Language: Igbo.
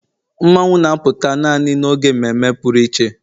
Mmanwu na-apụta naanị n'oge mmeme pụrụ iche